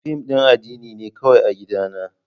Fim din addini ne kawai a gidana.